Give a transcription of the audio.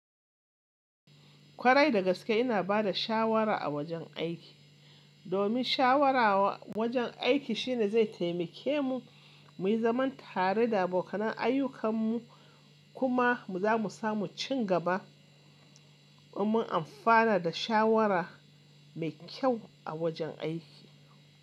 Kwarai dagaske ina bada shawara a wajen aiki. Domin shawarawa wajen aiki shine zai taimake mu muyi zaman tare da abokan ayyukan mu kuma zamu samu cigaba. Domin amfana da shawara mekyau a wajen aiki.